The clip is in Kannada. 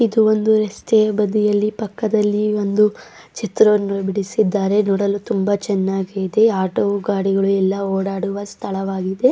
ಇದು ಒಂದು ರಸ್ತೆ ಬದಿಯಲ್ಲಿ ಪಕ್ಕದಲ್ಲಿ ಒಂದು ಚಿತ್ರವನ್ನು ಬಿಡಿಸಿದ್ದಾರೆ ನೋಡಲು ತುಂಬಾ ಚೆನ್ನಾಗಿದೆ ಆಟೋ ಗಾಡಿಗಳೆಲ್ಲ ಓಡಾಡುವ ಸ್ಥಳವಾಗಿದೆ.